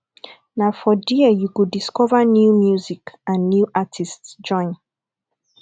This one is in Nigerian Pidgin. na for there you go discover new music and new artists join